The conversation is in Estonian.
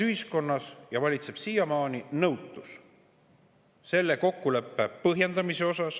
Ühiskonnas valitses ja valitseb siiamaani nõutus selle kokkuleppe põhjendamise tõttu.